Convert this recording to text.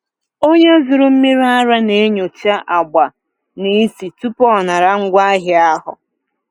Onye zụrụ mmiri ara na-enyocha agba na ísì tupu ọ nara ngwaahịa ahụ.